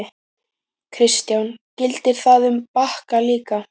Kristján: Gildir það um Bakka líka?